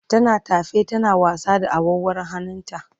tana tafe tana wasa da awarwarun hannun ta